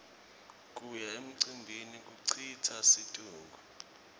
kuya emcimbini kucitsa situnge